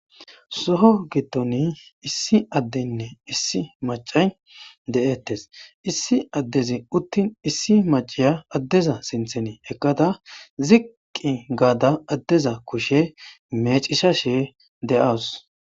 soho gittoni issi addeynne issi macay de7ettes issi addezi uttin issi maciya addeza sintheni ekqada ziqqi gaada addeza kushe mecisha she de7awus